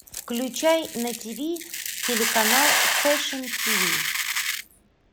включай на тв телеканал фэшн тв